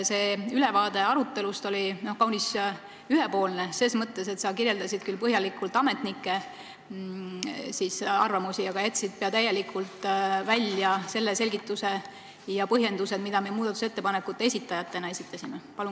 See ülevaade arutelust oli kaunis ühepoolne, sa kirjeldasid küll põhjalikult ametnike arvamusi, aga jätsid pea täielikult välja selgituse ja põhjendused, mida me muudatusettepanekute esitajatena esitasime.